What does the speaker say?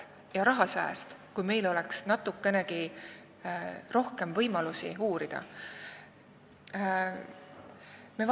Kui meil oleks natukenegi rohkem võimalusi uurida, siis oleks see nii aja- kui ka rahasääst.